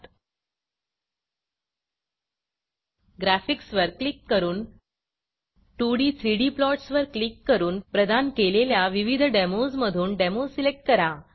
graphics वर click करून 2d 3d plots वर क्लिक करून प्रदान केलेल्या विविध डेमोज मधून डेमो सिलेक्ट करा